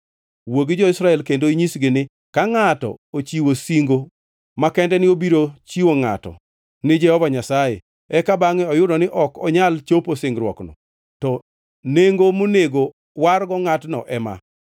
“Wuo gi jo-Israel kendo inyisgi ni: ‘Ka ngʼato ochiwo singo makende ni obiro chiwo ngʼato ni Jehova Nyasaye, eka bangʼe oyudo ni ok onyal chopo singruokneno, to nengo monego wargo ngʼatno ema: